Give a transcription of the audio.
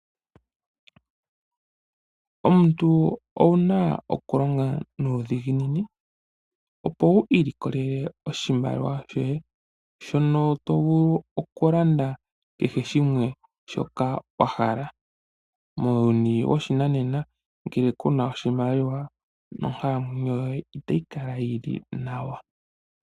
Omuntu owuna oku longa nuudhiginini, opo wu iilikolele oshimaliwa shoye, shono tovulu okulanda kehe shimwe shoka wahala. Muuyuni woshinane ngele ku na oshimaliwa nonkalamwenyo yoye itayi kala yi li nawa.